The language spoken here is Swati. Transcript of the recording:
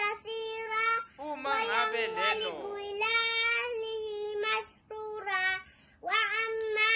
uma ngabe lelo